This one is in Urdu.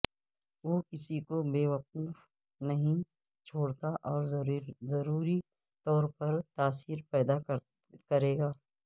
وہ کسی کو بے وقوف نہیں چھوڑتا اور ضروری طور پر تاثر پیدا کرے گا